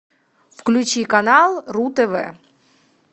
включи канал ру тв